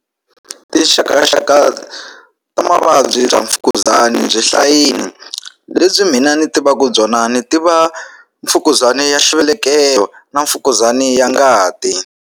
Tinxakaxaka ta mavabyi bya mfukuzani byi hlayeni lebyi mina ni tivaku byona ni tiva mfukuzana ya xivelekelo na mfukuzani ya ngati.